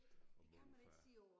Og morfar